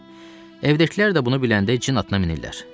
Evdəkilər də bunu biləndə cin atına minirlər.